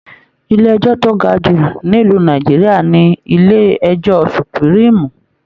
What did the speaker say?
Ilé ẹjọ to ga jù nílu Nàìjíríà ní ilé ẹjọ supuriimu.